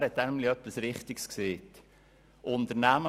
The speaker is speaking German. Er hat nämlich etwas Richtiges gesagt.